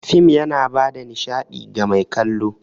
Fim yana bada nishaɗi ga mai kallo.